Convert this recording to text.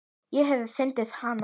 Ég hef fundið hana.